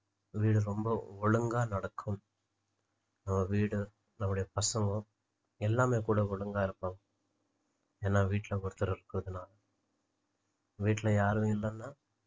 வீடு ரொம்ப ஒழுங்கா நடக்கும் நம்ம வீடு நம்முடைய பசங்க எல்லாமே கூட ஒழுங்கா இருப்பாங்க ஏன்னா வீட்டுல ஒருத்தர் இருக்குறதுனால வீட்டுல யாரும் இல்லைன்னா